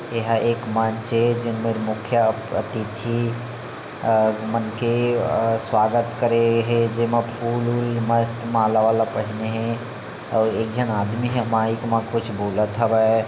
एहा एक मंच हे जिनमे मुख्य अतिथि और उ मन के अ-- स्वागत करे हे जेमा फूल-वूल मस्त माला-वाला पहने हे और एक झन आदमी ह माईक मा कुछ बोलत हवे।